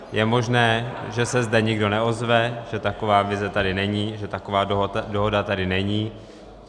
Je možné, že se zde nikdo neozve, že taková vize tady není, že taková dohoda tady není.